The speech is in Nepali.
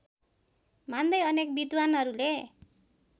मान्दै अनेक विद्वानहरूले